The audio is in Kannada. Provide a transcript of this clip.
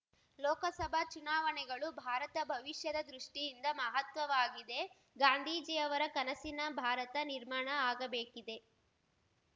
ಲೋಕಸಭಾ ಚುನಾವಣೆಗಳು ಭಾರತ ಭವಿಷ್ಯದ ದೃಷ್ಟಿಯಿಂದ ಮಹತ್ವದ್ದಾಗಿದೆಗಾಂಧೀಜಿಯವರ ಕನಸಿನ ಭಾರತ ನಿರ್ಮಾಣ ಆಗಬೇಕಿದೆ